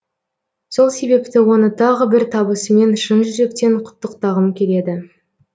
сол себепті оны тағы бір табысымен шын жүректен құттықтағым келеді